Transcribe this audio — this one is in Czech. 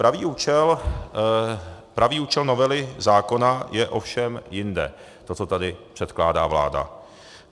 Pravý účel novely zákona je ovšem jinde, to, co tady předkládá vláda.